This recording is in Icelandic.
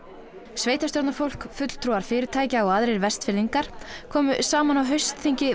sveitarstjórnarfólk fulltrúar fyrirtækja og aðrir Vestfirðingar komu saman á haustþingi